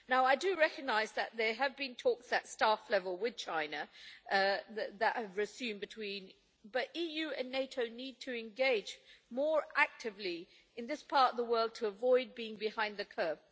I do recognise that there have been talks at staff level with China that have resumed, but the EU and NATO need to engage more actively in this part of the world to avoid being behind the curve.